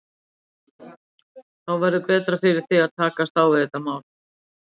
Þá verður betra fyrir þig að takast á við þetta mál.